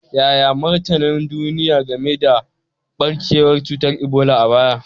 Yaya martanin duniya game da barkewar cutar Ebola a baya?